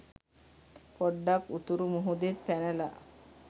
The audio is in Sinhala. පොඩ්ඩක් උතුරු මුහුදෙන් පැනල